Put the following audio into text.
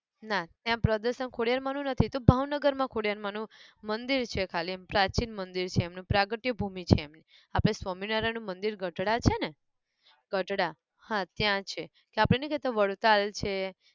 ના ત્યાં પ્રદર્શન ખોડિયાર માંનું નથી એતો ભાવનગર માં ખોડિયાર માંનું મંદિર છે ખાલી એમ પ્રાચીન મંદિર છે એમનું પ્રાગટ્ય ભૂમિ છે એમની આપણે સ્વામિનારાયણ નું મંદિર ગઢડા છે ને! ગઢડા હા ત્યાં છે તો આપણે નાઈ કેતાં વડતાલ છે